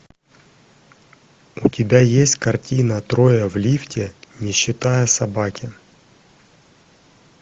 у тебя есть картина трое в лифте не считая собаки